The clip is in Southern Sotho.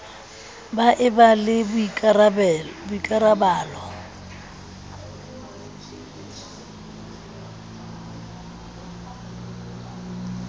ba e ba le boikarabalo